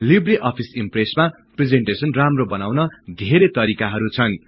Libre Office ईम्प्रेसमा presentation राम्रो बनाउन धेरै तरिकाहरु छन्